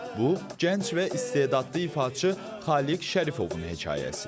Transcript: Bu, gənc və istedadlı ifaçı Xaliq Şərifovun hekayəsidir.